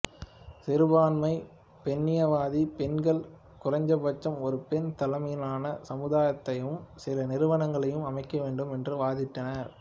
சிறுபான்மை பெண்ணியவாதி பெண்கள் குறைந்தபட்சம் ஒரு பெண் தலைமையிலான சமுதாயத்தையும் சில நிறுவனங்களையும் அமைக்க வேண்டும் என்று வாதிட்டனர்